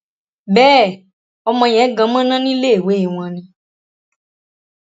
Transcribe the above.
bẹẹ ọmọ yẹn gan mọnà níléèwé wọn ni